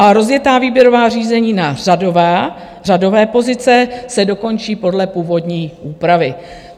A rozjetá výběrová řízení na řadové pozice se dokončí podle původní úpravy.